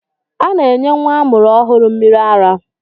A na-enye nwa amụrụ ọhụrụ mmịrị ara.